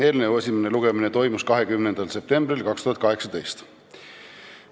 Eelnõu esimene lugemine toimus 20. septembril 2018.